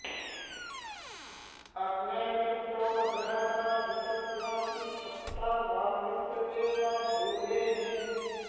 अग्ने॑ मि॒त्रो न बृ॑ह॒त ऋ॒तस्यासि॑ क्ष॒त्ता वा॒मस्य॑ देव॒ भूरेः॑